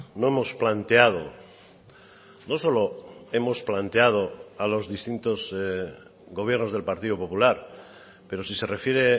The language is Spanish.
no hemos planteado no solo hemos planteado a los distintos gobiernos del partido popular pero si se refiere